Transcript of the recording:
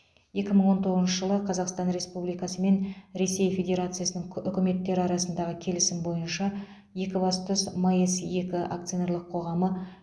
екі мың тоғызыншы жылы қазақстан республикасы мен ресей федерациясының үкіметтері арасындағы келісім бойынша екібастұз маэс екі акционерлік қоғамы